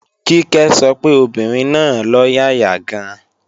Kíkẹ́ sọ pé obìnrin náà lọ́yàyà gan-an